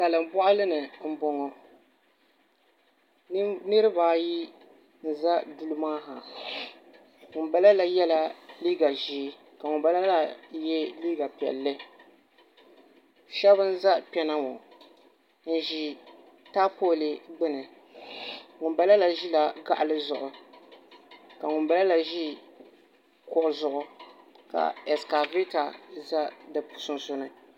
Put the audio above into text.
Salin boɣali ni n boŋo nirabaayi ʒɛla duli maa ha ŋunbala la yɛla liiga ʒiɛ ka ŋunbala maa yɛ liiga piɛlli shab n ʒɛ kpɛna ŋo n ʒi taapooli gbuni ŋunbala la ʒila kaɣali zuɣu ka ŋun bala la ʒi kuɣu zuɣu ka ɛskavɛta bɛ bi sunsuuni